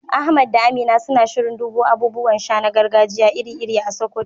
Ahmad da Aminu suna shirin dubo abubuwan sha na gargajiya iri-iri a Sokoto